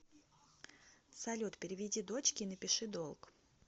салют переведи дочке и напиши долг